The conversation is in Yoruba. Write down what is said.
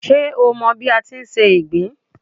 Ṣé o mọ bí a ti ń se ìgbín